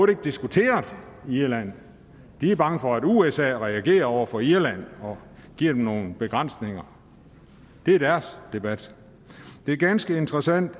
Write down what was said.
diskuteret i irland de er bange for at usa reagerer over for irland og giver dem nogle begrænsninger det er deres debat det er ganske interessant